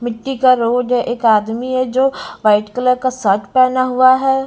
मिट्टी का रोड है एक आदमी है जो वाइट कलर का शर्ट पहना हुआ है।